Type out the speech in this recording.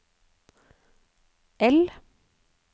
L